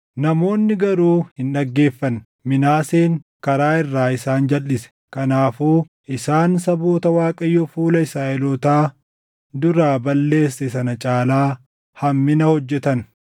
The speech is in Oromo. Namoonni garuu hin dhaggeeffanne. Minaaseen karaa irraa isaan jalʼise; kanaafuu isaan saboota Waaqayyo fuula Israaʼelootaa duraa balleesse sana caalaa hammina hojjetan.